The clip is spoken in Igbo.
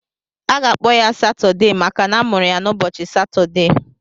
Aga-akpọ ya Satudee maka na amụrụ ya n'ụbọchị Satudee.